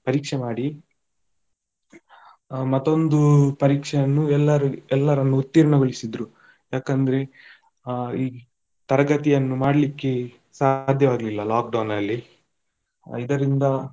ಪರೀಕ್ಷೆ ಮಾಡಿ ಹಾ ಮತ್ತೊಂದು ಪರೀಕ್ಷೆಯನ್ನು ಎಲ್ಲರು ಎಲ್ಲರನ್ನೂ ಉತ್ತೀರ್ಣಗೊಳಿಸಿದ್ರು, ಯಾಕಂದ್ರೆ ಆ ಈ ತರಗತಿಯನ್ನು ಮಾಡ್ಲಿಕ್ಕೆ ಸಾದ್ಯವಾಗ್ಲಿಲ್ಲ lockdown ಅಲ್ಲಿ ಆ ಇದರಿಂದ.